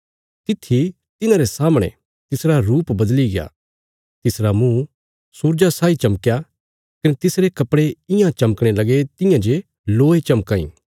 तित्थी तिन्हारे सामणे तिसरा रुप बदलिग्या तिसरा मुँह सूरजा साई चमकया कने तिसरे कपड़े इयां चमकणे लगे तियां जे लोय चमकां इ